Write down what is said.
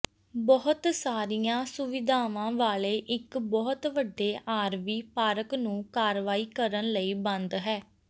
ਬਹੁਤ ਸਾਰੀਆਂ ਸੁਵਿਧਾਵਾਂ ਵਾਲੇ ਇੱਕ ਬਹੁਤ ਵੱਡੇ ਆਰਵੀ ਪਾਰਕ ਨੂੰ ਕਾਰਵਾਈ ਕਰਨ ਲਈ ਬੰਦ ਹੈ